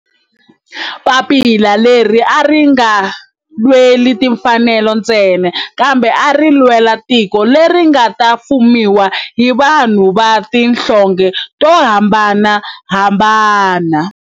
Papila leri a ri nga lweli timfanelo ntsena kambe ari lwela tiko leri nga ta fumiwa hi vanhu va tihlonge to hambanahambana.